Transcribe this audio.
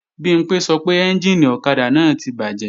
Bimpé sọ pé ẹ́njìnì ọ̀kadà náà ti bàjẹ́